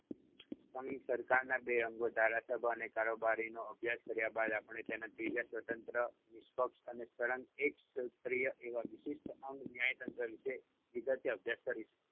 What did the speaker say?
સરકારના બે અંગો ધારાસભા અને કારોબારીનો અભ્યાસ કર્યા બાદ આપણે તેના ત્રીજા સ્વતંત્ર, નિષ્પક્ષ અને સળંગ એકસૂત્રીય એવા વિશિષ્ટ અંગ ન્યાયતંત્ર વિષે વિગતે અભ્યાસ કરીશું